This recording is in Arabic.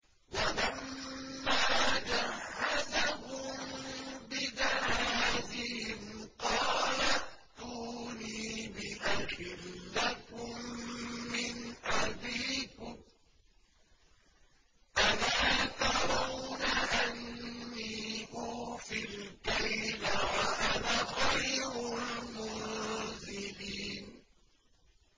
وَلَمَّا جَهَّزَهُم بِجَهَازِهِمْ قَالَ ائْتُونِي بِأَخٍ لَّكُم مِّنْ أَبِيكُمْ ۚ أَلَا تَرَوْنَ أَنِّي أُوفِي الْكَيْلَ وَأَنَا خَيْرُ الْمُنزِلِينَ